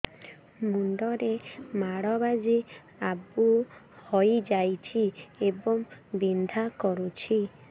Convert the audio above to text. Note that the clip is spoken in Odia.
ମୁଣ୍ଡ ରେ ମାଡ ବାଜି ଆବୁ ହଇଯାଇଛି ଏବଂ ବିନ୍ଧା କରୁଛି